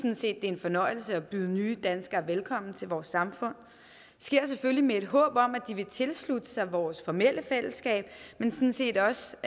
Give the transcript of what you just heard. er en fornøjelse at byde nye danskere velkommen til vores samfund det sker selvfølgelig med et håb om at de vil tilslutte sig vores formelle fællesskab men sådan set også